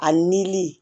A nili